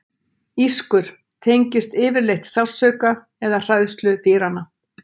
Ískur: tengist yfirleitt sársauka eða hræðslu dýranna.